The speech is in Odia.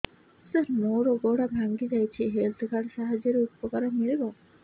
ସାର ମୋର ଗୋଡ଼ ଭାଙ୍ଗି ଯାଇଛି ହେଲ୍ଥ କାର୍ଡ ସାହାଯ୍ୟରେ ଉପକାର ମିଳିବ